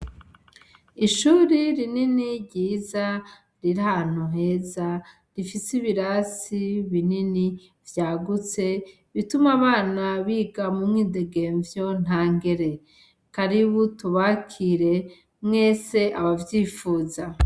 Ishuri rinini ryiza riri ahantu heza rifise ibirasi binini vyagutse bituma abana biga mu mwidegemvyo ntangere, karibu tubakire mwese abavyifuza.